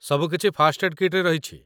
ସବୁକିଛି first aid କିଟ୍‌ରେ ରହିଛି